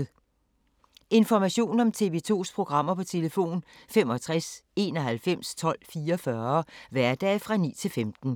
Information om TV 2's programmer: 65 91 12 44, hverdage 9-15.